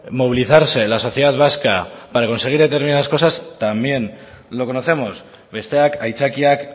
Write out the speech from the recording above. movilizarse la sociedad vasca para conseguir determinadas cosas también lo conocemos besteak aitzakiak